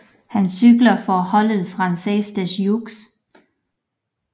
Han cykler for holdet Française des Jeux